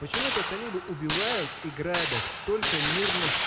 почему-то талибы убивают и грабят только мирных